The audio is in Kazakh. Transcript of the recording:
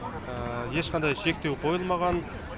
ешқандай шектеу қойылмаған